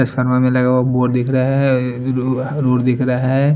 Restaurant में लगा board दिखह रहा है लु-लुड दिख रहा है।